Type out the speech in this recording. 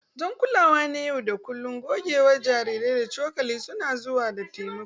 Don kulawa na yau da kullun, gogewar jariri da cokali suna zuwa da taimako.